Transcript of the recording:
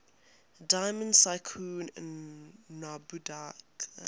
diamond tycoon nwabudike